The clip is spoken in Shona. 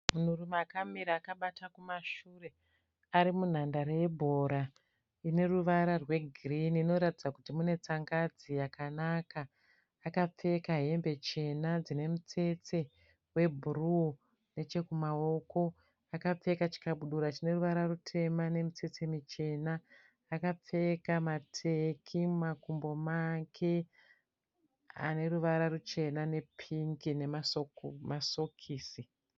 Munhurume akamira akabata kumashure ari munhandare yebhora ine ruvara rwegirini inoratidza kuti mune tsangadzi yakanaka akapfeka hembe chena dzine mitsetse webhuruu nechekumaoko akapfeka chikabudura chine ruvara rutema nemitsetse michena akapfeka mateki mumakumbo make ane ruvara ruchena nepingi nemasokisi.